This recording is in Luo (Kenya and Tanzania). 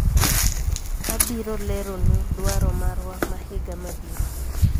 abiro lero nu dwaro marwa ma higa mabiro